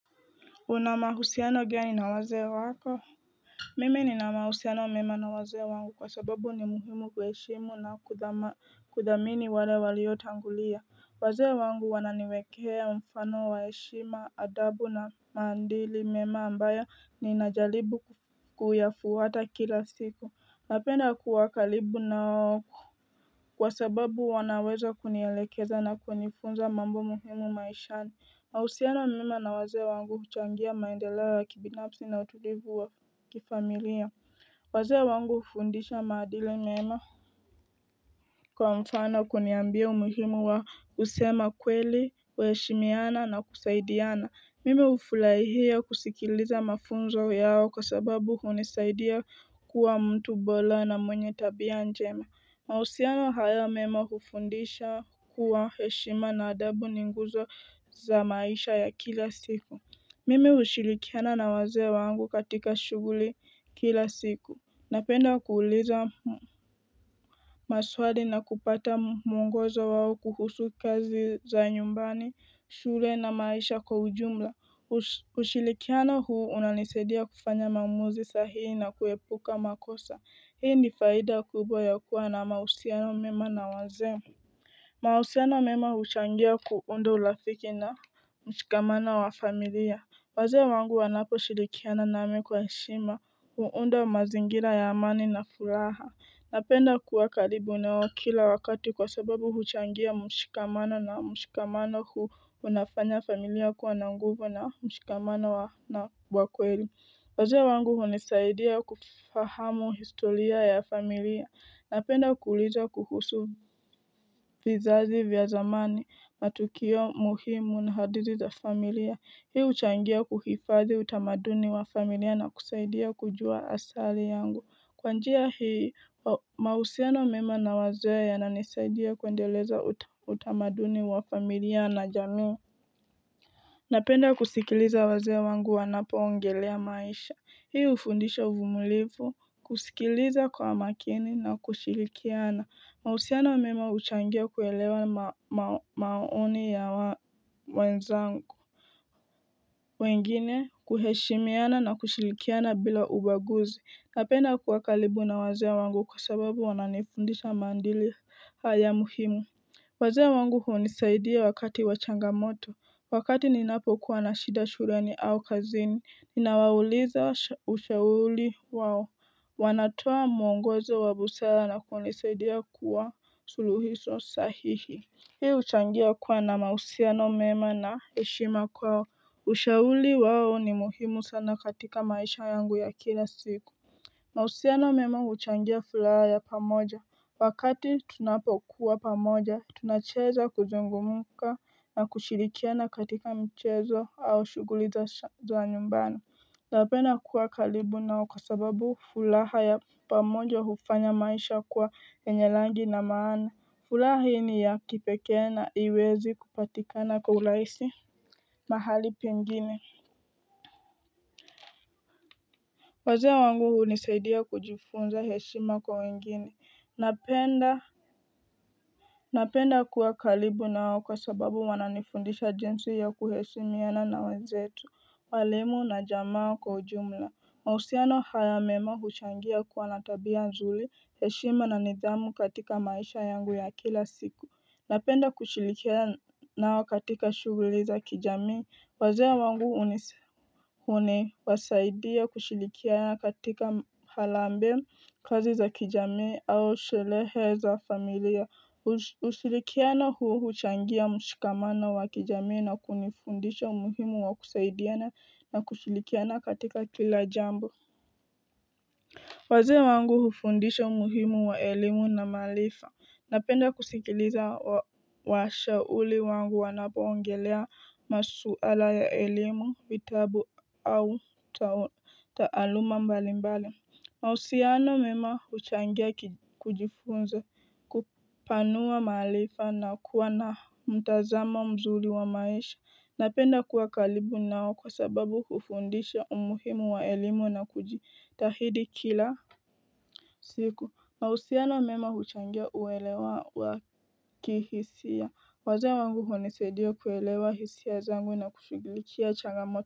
Unamahusiano gea ninawaze wako mime ninamahusiano mema na waze wangu kwa sababu ni muhimu kuheshimu na kudamini wale waliyo tangulia waze wangu wananiwekee mfano waeshima adabu na maandili mema ambaya ninajalibu kuyafuwata kila siku napenda kuwakalibu nao kwa sababu wanaweza kunielekeza na kunifunza mambo muhimu maishani Nausiana mima na wazia wangu huchangia maendelea wa kibinapsi na utulivu wa kifamilia Wazia wangu hufundisha maadili mema Kwa mfana kuniambia umuhimu wa kusema kweli wa heshimiana na kusaidiana Mime ufulaihia kusikiliza mafunzo yao kwa sababu unisaidia kuwa mtu bola na mwenye tabia njema na usiano hayo mema hufundisha kuwa heshima na adabu ninguzo za maisha ya kila siku Mimi ushirikiana na waze wangu katika shuguli kila siku Napenda kuuliza mu Maswadi na kupata mungozo wao kuhusu kazi za nyumbani, shule na maisha kwa ujumla ushirikiana huu unalisedia kufanya maumuzi sahii na kuhepuka makosa Hii ni faida kubwa ya kuwa na mausiano mima na wanzemu mausiano mima huchangia kuundo ulafiki na mshikamana wa familia Waze wangu wanapo shidikiana name kwa shima, huundo mazingira ya mani na furaha Napenda kuwa karibu neo kila wakati kwa sababu huchangia mshikamana na mshikamana huu unafanya familia kuwa na nguvu na mshikamana wa na wakweli Waze wangu unisaidia kufahamu historia ya familia. Napenda kuuliza kuhusu vizazi vya zamani na tukio muhimu na hadizi za familia. Hiu uchangia kuhifazi utamaduni wa familia na kusaidia kujua asali yangu. Kwanjia hiu mausiano mima na waze ya na nisaidia kuendeleza utamaduni wa familia na jamiu. Napenda kusikiliza waze wangu wanapo ongelea maisha. Hii ufundisha vumulivu, kusikiliza kwa makini na kushilikiana, mausiana wa mima uchangia kuelewa maoni ya wenzangu wengine, kuheshimiana na kushilikiana bila ubaguzi, napenda kuakalibu na wazia wangu kwa sababu wananifundisha mandili haya muhimu Waze wangu huonisaidia wakati wachangamoto wakati ninapo kuwa na shida shureni au kazini ninawauliza ushauli wawo wanatoa muongozo wa busela na kuonisaidia kuwa suluhiso sahihi Hii ushangia kuwa na mausia no mema na eshima kuwa ushauli wawo ni muhimu sana katika maisha yangu ya kila siku Mausia na umemo huchangia fulaha ya pamoja. Wakati tunapokuwa pamoja, tunacheza kuzungumuka na kushirikia na katika mchezo au shuguliza za nyumbano. Napena kuwa kalibu nao kasababu fulaha ya pamoja hufanya maisha kwa enye langi na maana. Fulaha hii ni ya kipeke na iwezi kupatikana kwa uraisi mahali pengini. Wazea wangu unisaidia kujifunza heshima kwa wengine, napenda kuwa kalibu nao kwa sababu wananifundisha jensi ya kuhesumiana na wenzetu, walimu na jamaa kwa ujumla mausiano haya mema huchangia kuwanatabia nzuli heshima na nizamu katika maisha yangu ya kila siku Napenda kushilikiana katika shuguli za kijami wazia wangu unise Hune wasaidia kushilikiana katika halambe kazi za kijami au shilehe za familia usilikiana huo huchangia mshikamana wa kijami na kunifundisha umuhimu wa kusaidiana na kushilikiana katika kila jambo Wazia wangu hufundisha umuhimu wa elimu na malifa Napenda kusikiliza washa uli wangu wanapoongelea masuala ya elimu vitabu au taaluma mbali mbali mausiano mima huchangia kujifunza kupanua malifa na kuwa na mtazama mzuli wa maisha Napenda kuwa kalibu nao kwa sababu kufundisha umuhimu wa elimu na kujitahidi kila siku mausia na mema huchangea uwelewa waki hisia waza wangu honisedio kuwelewa hisia zangu na kushugiliki ya changamoto.